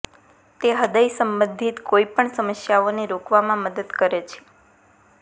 તે હૃદય સંબંધિત કોઈ પણ સમસ્યાઓને રોકવામાં મદદ કરે છે